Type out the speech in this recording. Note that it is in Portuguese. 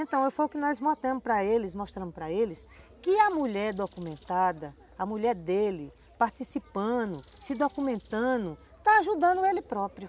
Então, foi o que nós mostramos para eles para eles que a mulher documentada, a mulher dele participando, se documentando, está ajudando ele próprio.